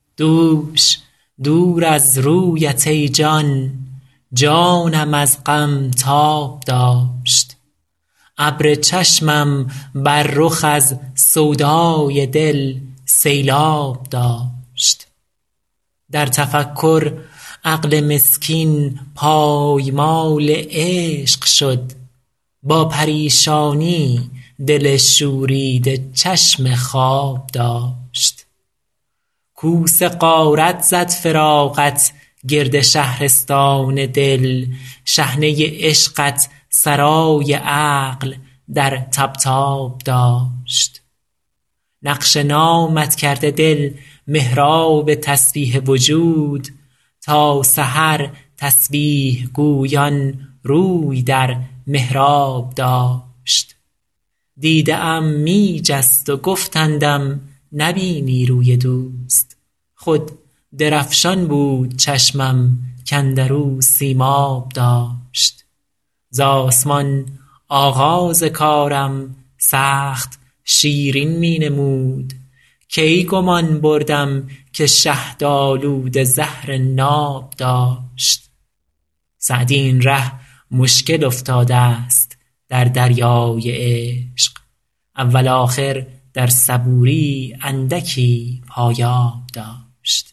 دوش دور از رویت ای جان جانم از غم تاب داشت ابر چشمم بر رخ از سودای دل سیلآب داشت در تفکر عقل مسکین پایمال عشق شد با پریشانی دل شوریده چشم خواب داشت کوس غارت زد فراقت گرد شهرستان دل شحنه عشقت سرای عقل در طبطاب داشت نقش نامت کرده دل محراب تسبیح وجود تا سحر تسبیح گویان روی در محراب داشت دیده ام می جست و گفتندم نبینی روی دوست خود درفشان بود چشمم کاندر او سیماب داشت ز آسمان آغاز کارم سخت شیرین می نمود کی گمان بردم که شهدآلوده زهر ناب داشت سعدی این ره مشکل افتادست در دریای عشق اول آخر در صبوری اندکی پایاب داشت